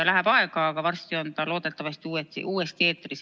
Läheb aega, aga varsti on ta loodetavasti uuesti eetris.